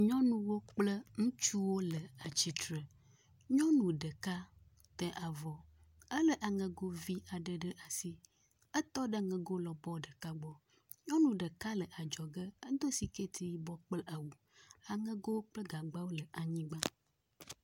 nyɔnuwo kple nutsuwo le atsitsre nyɔnu ɖeka te avɔ éle aŋegovi ɖeka ɖe asi, etɔ ɖe aŋego lɔbɔ ɖeka gbɔ nyɔnu ɖeka le adzɔge edó sikɛti yibɔ kple awu aŋego kple gagbawo le anyigbã